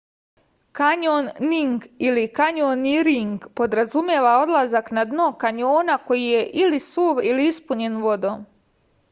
кањонинг или: кањониринг подразумева одлазак на дно кањона који је или сув или испуњен водом